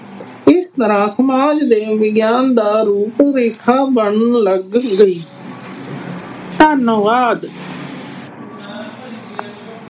ਇਸ ਤਰ੍ਹਾਂ ਸਮਾਜ ਦੇ ਵਿਗਿਆਨ ਦਾ ਰੂਪ ਬਣਨ ਲੱਗ ਗਈ। ਧੰਨਵਾਦ।